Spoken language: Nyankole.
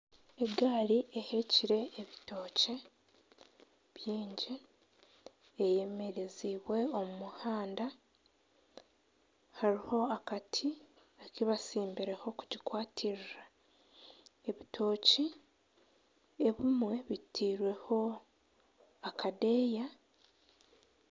Egaari ehekire ebitookye bingi eyemereziibwe omu muhanda hariho akati aku batsimbireho kugikwatirira ebitookye ebimwe bitairweho akadeeyo